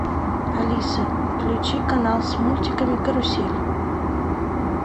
алиса включи канал с мультиками карусель